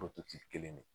kelen de